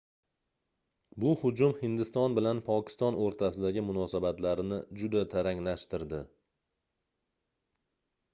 bu hujum hindiston bilan pokiston oʻrtasidagi munosanatlarni juda taranglashtirdi